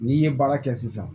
N'i ye baara kɛ sisan